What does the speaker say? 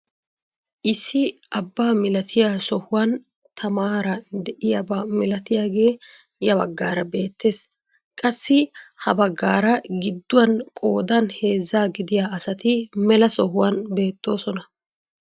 Issi abbaa milatiyaa sohuwaan tamaara de'iyaaba milatiyaagee ya baggaara beettees. qassi ha baggaara gidduwaan qoodan heezzaa gidiyaa asati mela sohuwaan beettoosona.